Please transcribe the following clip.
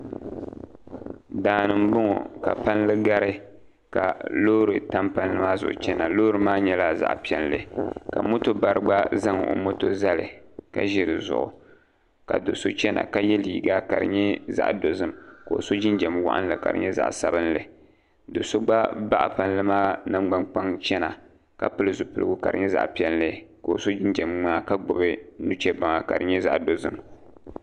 Daani n boŋo ka palli gari ka loori tam palli maa zuɣu chɛna loori maa nyɛla zaɣ piɛlli ka moto bari gba zaŋ o moto zali ka ʒi dizuɣu ka do so chɛna ka yɛ liiga ka di nyɛ zaɣ dozim ka o so jinjɛm waɣanli ka di nyɛ zaɣ sabinli do so gba baɣa palli maa nangbani kpaŋ chɛna ka pili zipiligu ka di nyɛ zaɣ piɛlli ka o so jinjɛm ŋmaa ka gbubi nuchɛ baŋa ka di nyɛ zaɣ dozim